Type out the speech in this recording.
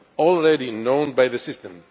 already known by the system.